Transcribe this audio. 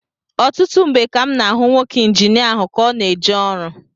Ọtụtụ mgbe ka m na-ahụ nwoke Injinia ahụ ka ọ na-eje ọrụ